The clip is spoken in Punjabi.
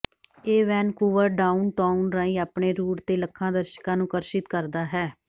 ਇਹ ਵੈਨਕੂਵਰ ਡਾਊਨਟਾਊਨ ਰਾਹੀਂ ਆਪਣੇ ਰੂਟ ਤੇ ਲੱਖਾਂ ਦਰਸ਼ਕਾਂ ਨੂੰ ਆਕਰਸ਼ਿਤ ਕਰਦਾ ਹੈ